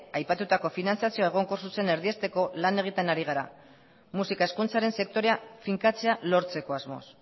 aipatutako finantziazio egonkor zuzena erdiesteko lan egiten ari gara musika hezkuntzaren sektorea finkatzea lortzeko asmoz